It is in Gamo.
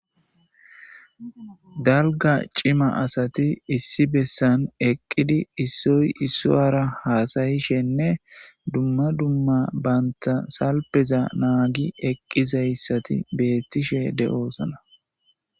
dalga cima asati issi bessan eqqidi issoy issoara haasayishenne dumma dumma banta salpeza naagi eqqizayssati beettishe de7oosana